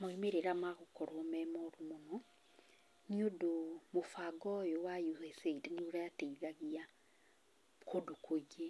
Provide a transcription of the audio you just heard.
Maumĩrĩra magũkorwo memoru mũno, nĩ ũndũ mũbango ũyũ wa USAID nĩ ũrateithagia kũndũ kũingĩ